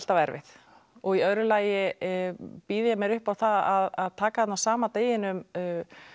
erfið og í öðru lagi býð ég mér upp á það að taka þarna á sama deginum